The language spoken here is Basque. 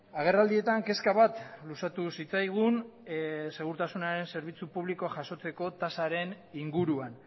agerraldietan kezka bat luzatu zitzaigun segurtasunaren zerbitzu publikoa jasotzeko tasaren inguruan